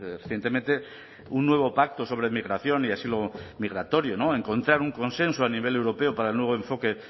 recientemente un nuevo pacto sobre migración y asilo migratorio no encontrar un consenso a nivel europeo para el nuevo enfoque